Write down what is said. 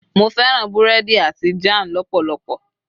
mo fẹràn burẹdi ati jan lọpọlọpọ